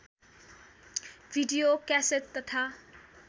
video cassette तथा